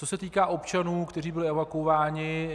Co se týká občanů, kteří byli evakuováni.